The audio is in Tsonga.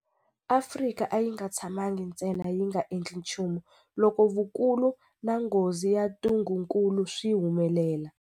Afrika a yi nga tshamangi ntsena yi nga endli nchumu loko vukulu na nghozi ya ntungukulu swi humelela.